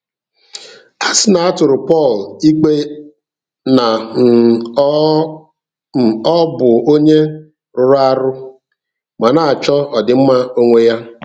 A sị na a tụrụ Pọl ikpe na um ọ um ọ bụ onye rụrụ arụ ma na-achọ ọdịmma onwe ya.